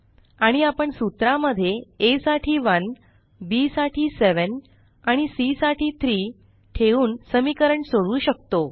आणि आपण सूत्रा मध्ये aसाठी 1 bसाठी 7 आणि सी साठी 3 ठेवून समीकरण सोडवू शकतो